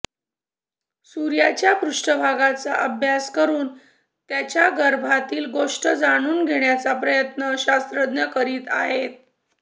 सूर्याच्या पृष्ठभागाचा अभ्यास करून त्याच्या गर्भातील गोष्टी जाणून घेण्याचा प्रयत्न शास्त्रज्ञ करीत आहेत